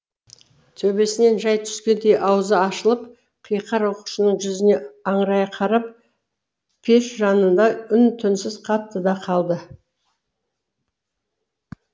төбесінен жай түскендей аузы ашылып қиқар оқушының жүзіне аңырая қарап пешжанында үн түнсіз қатты да қалды